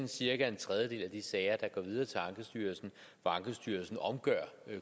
cirka en tredjedel af de sager der går videre til ankestyrelsen hvor ankestyrelsen omgør